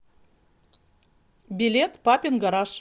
билет папин гараж